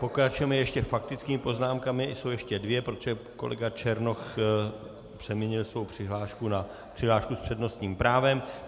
Pokračujeme ještě faktickými poznámkami - jsou ještě dvě, protože kolega Černoch přeměnil svou přihlášku na přihlášku s přednostním právem.